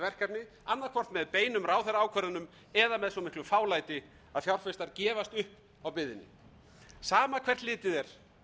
verkefni annað hvort með beinum ráðherraákvörðunum eða með svo miklu fálæti að fjárfestar gefast upp á biðinni sam hvert litið er